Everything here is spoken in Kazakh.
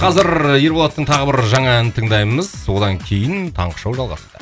қазір ерболаттың тағы бір жаңа әнін тыңдаймыз одан кейін таңғы шоу жалғастырады